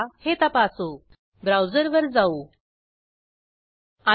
त्यांनी ह्या स्पोकन ट्युटोरियलचे प्रमाणिकरणही केले आहे